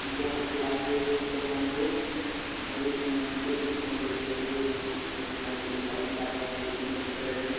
यहाँ पे आप देख सकते हैं यहाँ पे बहुत यहा पे पेड -पौधे लगे हुए हैं और यहा पे एक भाईसाब साइकिल पर चढ़ रहे है।